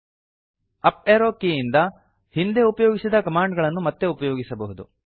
up arrow up arrow key ಇಂದ ಹಿಂದೆ ಉಪಯೋಗಿಸಿದ ಕಮಾಂಡ್ ಗಳನ್ನು ಮತ್ತೆ ಉಪಯೋಗಿಸಬಹುದು